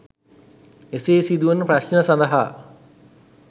එසේ සිදුවන ප්‍රශ්න සඳහා